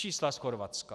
Čísla z Chorvatska.